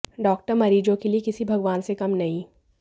doctor मरीजों के लिए किसी भगवान से कम नहीं